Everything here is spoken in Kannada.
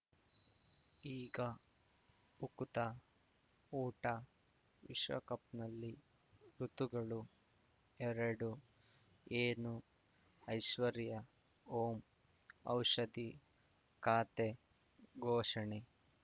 ಈಗ ಉಕುತ ಊಟ ವಿಶ್ವಕಪ್‌ನಲ್ಲಿ ಋತುಗಳು ಎರಡು ಏನು ಐಶ್ವರ್ಯಾ ಓಂ ಔಷಧಿ ಖಾತೆ ಘೋಷಣೆ